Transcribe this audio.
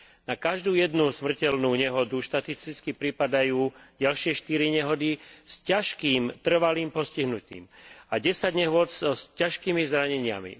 Na každú jednu smrteľnú nehodu štatisticky pripadajú ďalšie štyri nehody s ťažkým trvalým postihnutím a desať nehôd s ťažkými zraneniami.